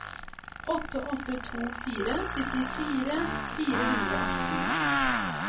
åtte åtte to fire syttifire fire hundre og atten